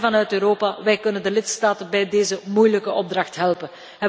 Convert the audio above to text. Maar wij vanuit Europa kunnen de lidstaten bij deze moeilijke opdracht helpen.